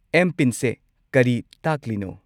M. ꯄꯤꯟ ꯁꯦ ꯀꯔꯤ ꯇꯥꯛꯂꯤꯅꯣ?